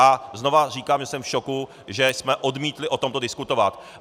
A znovu říkám, že jsem v šoku, že jsme odmítli o tomto diskutovat.